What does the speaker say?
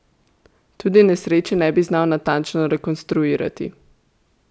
Tudi nesreče ne bi znal natančno rekonstruirati.